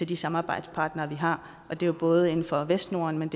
de samarbejdspartnere vi har og det er både inden for vestnorden men